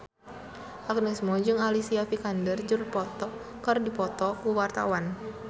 Agnes Mo jeung Alicia Vikander keur dipoto ku wartawan